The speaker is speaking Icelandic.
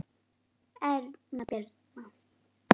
Erna Birna.